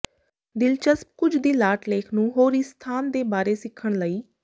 ਦਿਲਚਸਪ ਕੁਝ ਦੀ ਲਾਟ ਲੇਖ ਨੂੰ ਹੋਰ ਇਸ ਸਥਾਨ ਦੇ ਬਾਰੇ ਸਿੱਖਣ ਲਈ